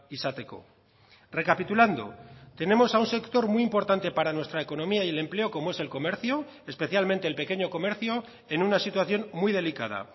izateko recapitulando tenemos a un sector muy importante para nuestra economía y el empleo como es el comercio especialmente el pequeño comercio en una situación muy delicada